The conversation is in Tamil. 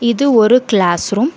இது ஒரு கிளாஸ் ரூம் .